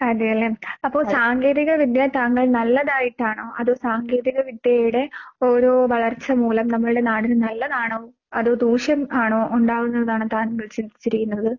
അതെയല്ലേ. അപ്പോൾ സാങ്കേതിക വിദ്യ താങ്കൾ നല്ലതായിട്ടാണോ അതോ സാങ്കേതിക വിദ്യയുടെ ഓരോ വളർച്ച മൂലം നമ്മൾടെ നാടിന് നല്ലതാണോ അതോ ദൂഷ്യം ആണോ ഉണ്ടാകുന്നതെന്നാണ് താങ്കൾ ചിന്തിച്ചിരിക്കുന്നത്?